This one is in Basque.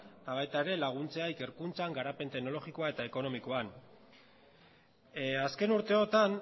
eta baita ere laguntzea ikerkuntzan garapen teknologikoa eta ekonomikoan azken urteotan